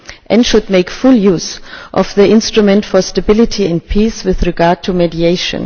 It should make full use of the Instrument for Stability and Peace with regard to mediation.